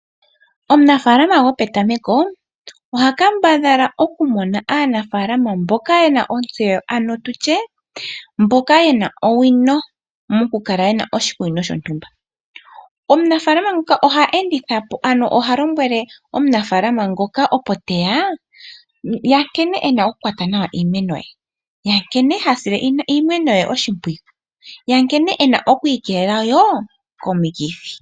Omunafaalama gopetameko oha kambadhala okumona aanafaalama mboka ye na ontseyo, ano tu tye mboka ye na owino mokukala ye na oshikunino shontumba. Omunafaalama nguka oha enditha po ano ha lombwele omunafaalama ngoka opo te ya nkene e na okukwata nawa iimeno ye, nkene e na okusila iimeno ye oshimpwiyu nankene e na oku ikeelela wo komikithi.